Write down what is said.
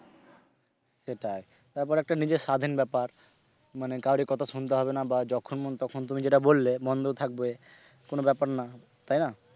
সেটাই তারপরে একটা নিজের স্বাধীন ব্যাপার মানে কাউরির কথা শুনতে হবে না বা যখন মন তখন তুমি যেটা বললে বন্ধ থাকবে কোনো ব্যাপার না তাই না?